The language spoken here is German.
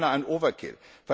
Es ist beinahe ein overkill.